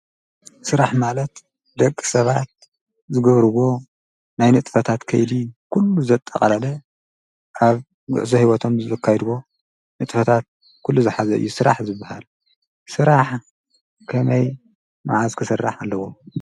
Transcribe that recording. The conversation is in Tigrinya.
ሥራሕ ማለት ደቂ ሰባት ዝገብርዎ ናይ ንጥፈታት ከይዲ ዂሉ ዘጠቓላለ ኣብ ጕዕዘ ሕይወቶም ዝዘካይድዎ ንጥፈታት ኲሉ ዝኃዘ እዩ ሥራሕ ዝብሃል ሥራሕ ከመይ መዓዝ ክሥራሕ ኣለዎ።